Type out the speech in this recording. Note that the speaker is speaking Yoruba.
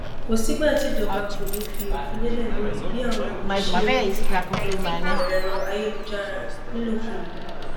kò sígbà tíjọba kò ní í fi òfin lélẹ lórí bí àwọn èèyàn ṣe ń lo ẹrọ ayélujára nílòkulò